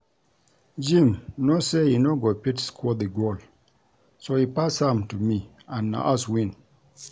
Jim know say he no go fit score the goal so he pass am to me and na us win